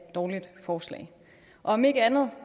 dårligt forslag om ikke andet